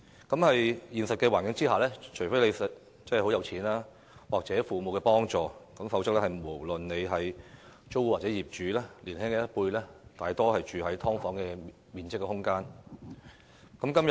在現實生活中，除非市民很富有或有父母幫助，否則年輕一輩，無論是租戶或業主，大多數是住在只有"劏房"面積的空間。